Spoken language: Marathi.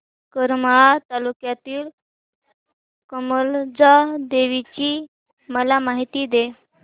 करमाळा तालुक्यातील कमलजा देवीची मला माहिती दे